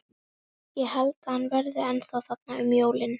Ég held að hann verði ennþá þarna um jólin.